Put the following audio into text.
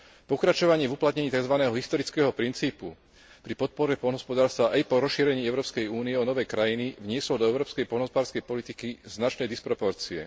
Pokračovanie v uplatňovaní takzvaného historického princípu pri podpore poľnohospodárstva aj po rozšírení Európskej únie o nové krajiny vnieslo do európskej hospodárskej politiky značné disproporcie.